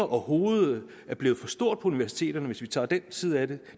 hovedet er blevet for stort på universiteterne hvis vi tager den side af det